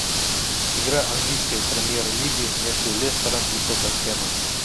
игра английской премьер лиги между лестером и тоттенхэмом